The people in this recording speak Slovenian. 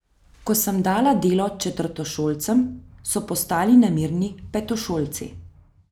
Ko sem dala delo četrtošolcem, so postali nemirni petošolci.